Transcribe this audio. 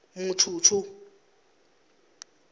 mutshutshu